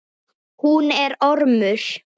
Hún er ormur.